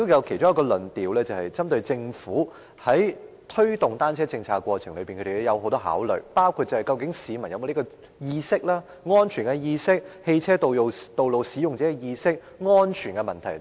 其中一個論點是針對政府在推動單車政策過程中有很多顧慮，包括市民是否有這方面的意識，如安全意識和汽車道路使用者意識等。